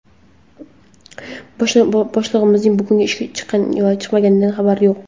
Boshlig‘imizning bugun ishga chiqqan yoki chiqmaganidan xabarim yo‘q.